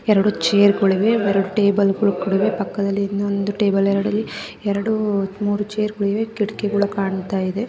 ಎರಡು ಚೇರ್ಗುಳಿವೆ ಎರಡು ಟೇಬಲ್ಗುಳು ಕೂಡ್ ಇವೆ ಪಕ್ಕದಲ್ಲಿ ಇನ್ನೊಂದು ಟೇಬಲ್ ಎರಡ್ ಇವೆ ಎರಡು ಮೂರು ಚೇರ್ಗುಳಿವೆ ಕಿಟ್ಗುಳ ಕಾಣ್ತಾ ಇದೆ.